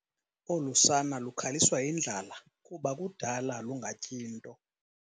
Olu sana lukhaliswa yindlala kuba kudala lungatyi nto.